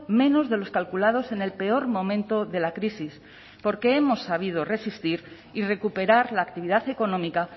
menos de los calculados en el peor momento de la crisis porque hemos sabido resistir y recuperar la actividad económica